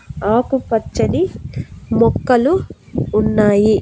ఆకు పచ్చని మొక్కలు ఉన్నాయి.